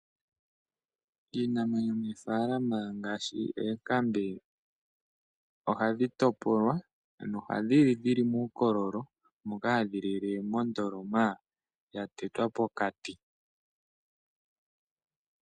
Iinamwenyo moofalama ngashi oonkambe, ohadhi topolwa, ano ohadhi li dhili muukololo, moka hadhi lile moondoloma dha tetwa pokati.